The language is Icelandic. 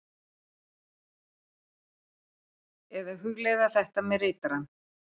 Eða hugleiða þetta með ritarann.